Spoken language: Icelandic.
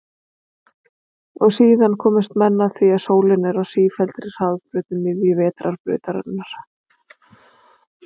Og síðan komust menn að því að sólin er á sífelldri hringferð um miðju Vetrarbrautarinnar.